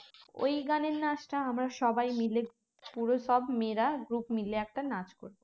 ওই গানের নাচটা আমরা সবাই মিলে পুরো সব মেয়েরা group মিলে একটা নাচ করবো